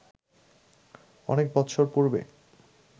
অনেক বৎসর পূর্বে